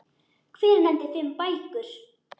Hver nefndi fimm bækur.